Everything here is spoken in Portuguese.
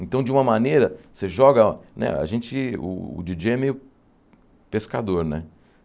Então, de uma maneira, você joga né a gente... O Di dJei é meio pescador, né?